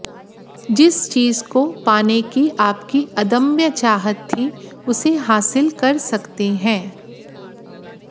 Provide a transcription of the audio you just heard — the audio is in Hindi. जिस चीज को पाने की आपकी अदम्य चाहत थी उसे हासिल कर सकते हैं